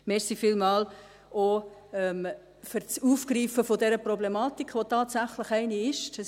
Vielen Dank auch für das Aufgreifen dieser Problematik, die tatsächlich eine ist.